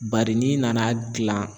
Bari n'i nana gilan